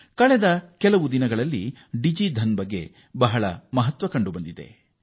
ಇತ್ತೀಚಿನ ದಿನಗಳಲ್ಲಿ ಡಿಜಿಧನ್ ಮೇಲೆ ಹೆಚ್ಚಿನ ಒತ್ತು ನೀಡುತ್ತಿರುವುದನ್ನು ಎಲ್ಲರೂ ಗಮನಿಸಿರಬಹುದು